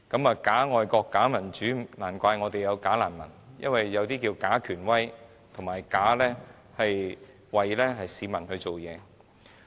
有假愛國、假民主，難怪會有"假難民"，因為有些假權威裝作為市民辦事。